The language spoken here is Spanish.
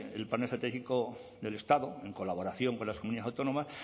el plan estratégico del estado en colaboración con las comunidad autónomas